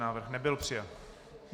Návrh nebyl přijat.